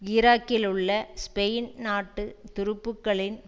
ஈராக்கிலுள்ள Spain நாட்டு துருப்புக்களின்